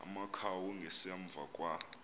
amakhawu ngasemva kwa